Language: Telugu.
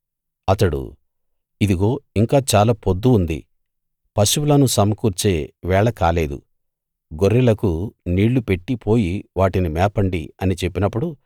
అతడు ఇదిగో ఇంకా చాలా పొద్దు ఉంది పశువులను సమకూర్చే వేళ కాలేదు గొర్రెలకు నీళ్ళు పెట్టి పోయి వాటిని మేపండి అని చెప్పినప్పుడు